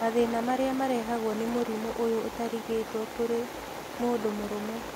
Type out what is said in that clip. Mathĩna marĩa marehagwo nĩ mũrimũ ũyũ ũtarigitwo kũrĩ mũndũ mũrũme